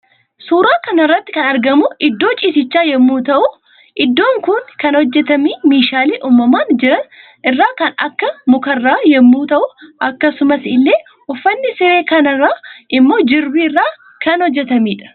Suuraa kanarratti kan argamu iddoo ciisichaa yommuu la'uu iddon Kun kan hojjetamee meeshale uumaman jiran irra kan Akka mukarraa yommuu ta'u akkasumas ille uffanni sire kana immo jirbii irraa kan hojjetamedha.